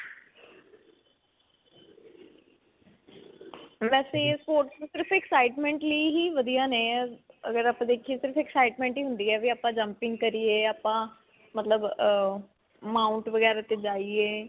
ਵੈਸੇ ਇਹ sports ਸਿਰਫ excitement ਲਈ ਹੀ ਵਧੀਆ ਨੇ ਅਅ ਅਗਰ ਆਪਾਂ ਦੇਖਿਆ ਸਿਰਫ excitement ਹੀ ਹੁੰਦੀ ਹੈ ਵੀ ਆਪਾਂ jumping ਕਰੀਏ ਜਾਂ ਆਪਾਂ ਮਤਲਬ ਅਅ mount ਵਗੈਰਾ ਤੇ ਜਾਇਏ.